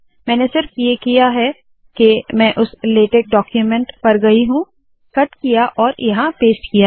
मैंने सिर्फ ये किया है के मैं उस लेटेक डाक्यूमेन्ट पर गयी हूँ कट किया और यहाँ पेस्ट किया है